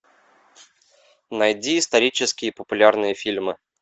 найди исторические популярные фильмы